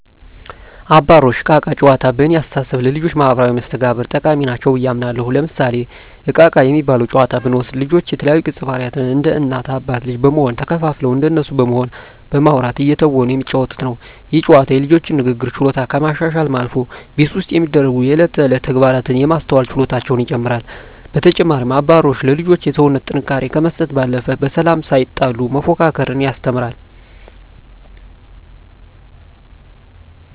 አባሮሽ እና እቃ እቃ ጨዋታዎች በእኔ አስተሳሰብ ለልጆች ማህበራዊ መስተጋብር ጠቃሚ ናቸው ብየ አምናለሁ። ለምሳሌ እቃ እቃ የሚባለውን ጨዋታ ብንወስድ ልጆች የተለያዩ ገፀባህርይ እንደ እናት አባት ልጅ በመሆን ተከፋፍለው እንደነሱ በመሆን በማዉራት እየተወኑ የሚጫወቱት ነው። ይህ ጨዋታ የልጆቹን የንግግር ችሎታ ከማሻሻልም አልፎ ቤት ውስጥ የሚደሰጉ የእለት ተእለት ተግባራትን የማስተዋል ችሎታቸውን ይጨመራል። በተጨማሪም አባሮሽ ለልጆች የሰውነት ጥንካሬ ከመስጠት ባለፈ በሰላም ሳይጣሉ መፎካከርን ያስተምራል።